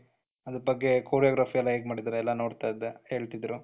ಅದರ ಬಗ್ಗೆ choreography ಎಲ್ಲಾ ಹೇಗೆ ಮಾಡಿದ್ದಾರೆ ಎಲ್ಲ ನೋಡ್ತಾ ಇದ್ದೆ ಹೇಳ್ತಿದ್ರು,